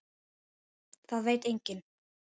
Það veit enginn.